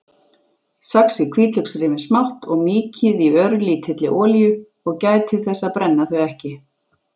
Saxið hvítlauksrifin smátt og mýkið í örlítilli olíu- gætið þess að brenna þau ekki.